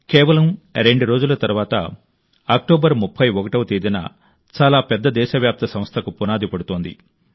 కేవలం రెండు రోజుల తర్వాత అక్టోబర్ 31వ తేదీన చాలా పెద్ద దేశవ్యాప్త సంస్థకు పునాది పడుతోంది